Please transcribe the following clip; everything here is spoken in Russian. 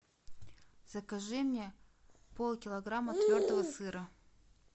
закажи мне полкилограмма твердого сыра